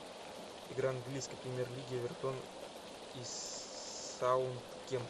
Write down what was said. игра английской премьер лиги эвертон и саутгемптон